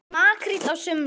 Makríll á sumrin.